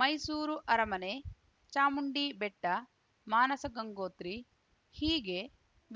ಮೈಸೂರು ಅರಮನೆ ಚಾಮುಂಡಿಬೆಟ್ಟ ಮಾನಸ ಗಂಗೋತ್ರಿ ಹೀಗೆ